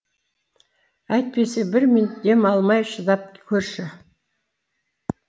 әйтпесе бір минут дем алмай шыдап көрші